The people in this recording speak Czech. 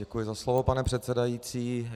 Děkuji za slovo, pane předsedající.